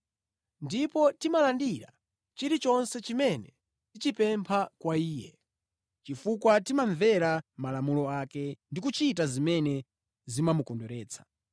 Ndipo timalandira chilichonse chimene tichipempha kwa Iye, chifukwa timamvera malamulo ake ndi kuchita zimene zimamukondweretsa.